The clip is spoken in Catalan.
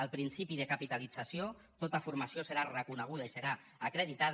el principi de capitalització tota formació serà reconeguda i serà acreditada